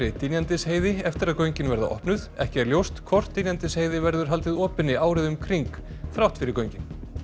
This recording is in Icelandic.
Dynjandisheiði eftir að göngin verða opnuð ekki er ljóst hvort Dynjandisheiði verður haldið opinni árið um kring þrátt fyrir göngin